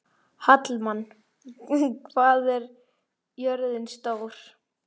Hallmann, hvað er jörðin stór?